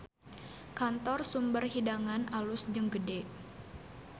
Kantor Sumber Hidangan alus jeung gede